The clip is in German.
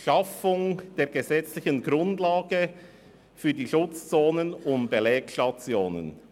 «Schaffung der gesetzlichen Grundlage für die Schutzzonen um Belegstationen».